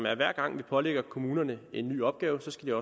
at hver gang vi pålægger kommunerne en ny opgave skal